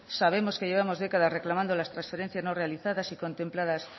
sabemos que llevamos décadas reclamando las transferencias no realizadas y contempladas